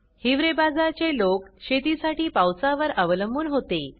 हिवरे बाजार चे लोक शेतीसाठी पावसा वर अवलंबून होते